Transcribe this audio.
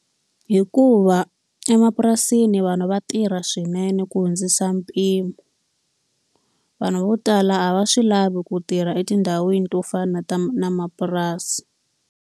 Hikuva emapurasini vanhu va tirha swinene ku hundzisa mpimo. Vanhu vo tala a va swi lavi ku tirha etindhawini to fana na ta mapurasi.